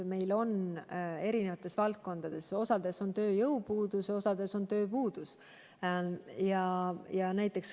Meil on osas valdkondades tööjõupuudus, osas on tööpuudus.